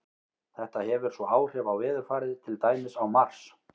Þetta hefur svo áhrif á veðurfarið, til dæmis á Mars.